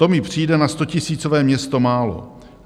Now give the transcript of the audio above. "To mi přijde na stotisícové město málo.